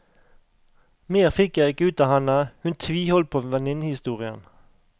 Mer fikk jeg ikke ut av henne, hun tviholdt på venninnehistorien.